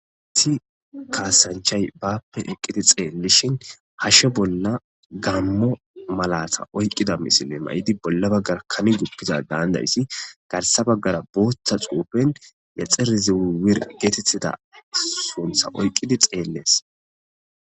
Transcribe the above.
Issi kaasanchay baappe eqqidi xeellishin hashshe bolla gammo malata oyqqida misile may7idi bolla baggara kami guppiza daandayssi garsa baggara booththa xuupen yaxer zew wir geetetida suntha oyqqidi xeellees.